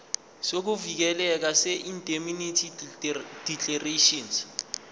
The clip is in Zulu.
sokuvikeleka seindemnity declaration